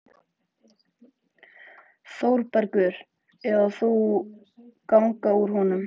ÞÓRBERGUR: Eða þú ganga úr honum.